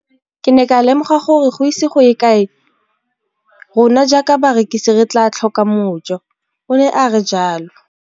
Ke ne ka lemoga gore go ise go ye kae rona jaaka barekise re tla tlhoka mojo, o ne a re jalo.